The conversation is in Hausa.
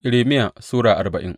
Irmiya Sura arbain